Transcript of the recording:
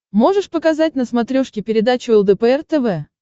можешь показать на смотрешке передачу лдпр тв